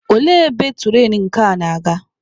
Olee ebe turainu nke a na-aga?